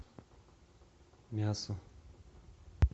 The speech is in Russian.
мясо